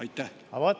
Aitäh!